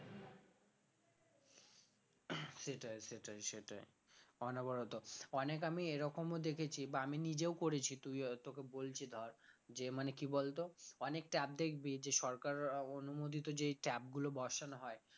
সেটাই সেটাই সেটাই অনবরত অনেক আমি এরকমও দেখেছি বা আমি নিজেও করেছি তুই হয়তো তোকে বলছি ধর যে মানে কি বলতো দিয়েছে সরকারের অনুমোদিত যেই tap গুলো বসানো হয়